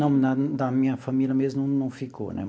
Não, na da minha família mesmo não ficou, né?